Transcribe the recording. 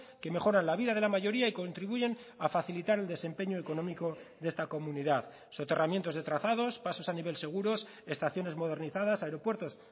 que mejoran la vida de la mayoría y contribuyen a facilitar un desempeño económico de esta comunidad soterramientos de trazados pasos a nivel seguros estaciones modernizadas aeropuertos